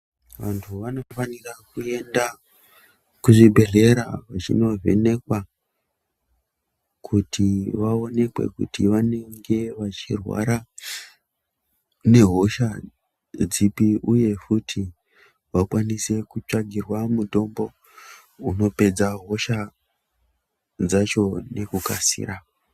Vantu vanofanira kuenda ku zvibhedhlera vachino vhenekwa kuti vaonekwe kuti vanenge vachi rwara nge hosha dzipi uye futi vakwanise kutsvagirwe mitombo uno pedza hosha dzacho neku kasira.